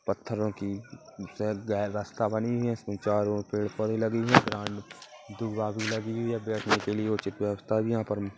पत्थरों की रस्ता बनी हुई है इसमें चारों और पेड़ पौधे लगे हुए है दूर्वा भी लगी हुई है बैठने के लिए उचित व्यवस्था भी यहाँ पर--